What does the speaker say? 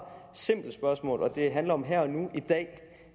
simple spørgsmål og det handler om her og nu i dag